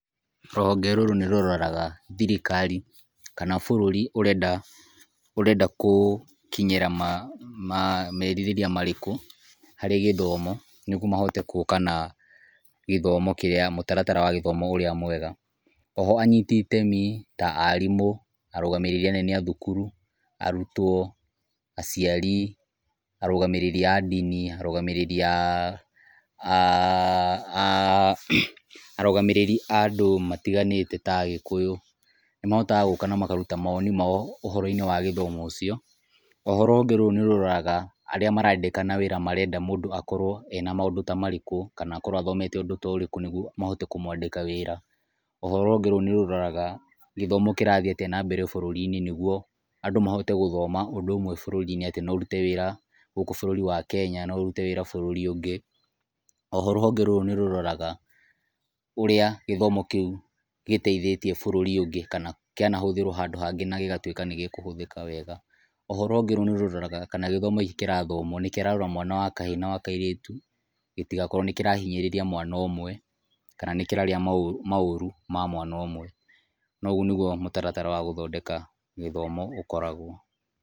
Rũhonge rũrũ nĩrũroraga thirikari kana bũrũri ũrenda kũkinyĩra merirĩria marĩkũ harĩ gĩthomo, nĩgũo mahote guka na gĩthomo kĩrĩa, mũtaratara wa gĩthomo ũrĩa mwega. Oho anyiti itemi ta arimũ, arũgamĩrĩri anene athukuru, arũtwo, aciari, arũgamĩrĩri a ndini, arũgamĩrĩri arũgamĩrĩri andũ matiganĩte ta agĩkũyũ nĩ mahotaga gũka na makaruta mawoni mao ũhoro-inĩ wa githomo ũcio. Oho rũhonge rũu nĩ rũroraga arĩa marandikana wĩra marenda mũndũ akorwo ena maũndũ ta marĩkũ kana akorwo athomete ũndũ ta ũrĩkũ nĩgũo mahote kũmwandika wĩra. Oho rũhonge rũu nĩ rũroraga gĩthomo kĩrathiĩ atĩa na mbere bũrũri-inĩ, nĩgũo andũ mahote gũthoma ũndũ ũmwe bũrũri-inĩ, atĩ no ũrũte wĩra gũkũ bũrũri wa Kenya, no ũrũte wĩra bũrũri ũngĩ. Oho rũhonge rũu nĩ rũroraga ũrĩa gĩthomo kĩu gĩteithĩtie bũrũri ũngĩ kana kĩanahũthĩrwo handũ hangĩ na gĩgatũĩka nĩgĩkũhũthĩka wega. Oho rũhonge rũu nĩ rũroraga kana gĩthomo gĩkĩ kĩrathomwo nĩkĩrarora mwana wa wakahĩ na wakairĩtũ gĩtigakorwo nĩkĩrahinyĩrĩria mwana ũmwe, kana nĩkĩraria maũru ma mwana ũmwe, na ũgũo nĩgũo mũtaratara wa gũthondeka gĩthomo ũkoragwo.